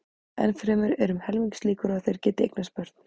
Enn fremur eru um helmingslíkur á að þeir geti eignast börn.